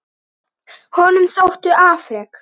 Honum þóttu afrek